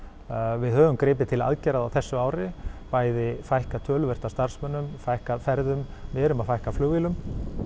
við höfum gripið til aðgerða á þessu ári bæði fækkað töluvert af starfsmönnum fækkað ferðum við erum að fækka flugvélum